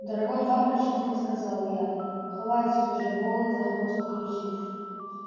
дорогой папа решительно сказала я хватит уже вола за хвост крутить